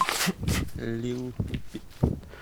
лил пип